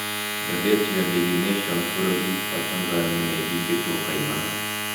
Ngathĩti ya Daily nation n bũrũri wa Tanzania nĩĩhingĩtwo kaimana